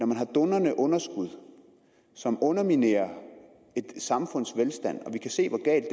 man har dundrende underskud som underminerer et samfunds velstand vi kan se hvor galt